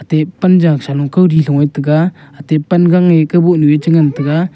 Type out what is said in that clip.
ate panjaw sano kawli loe taiga ate pan gang kaboh nue chengan taiga.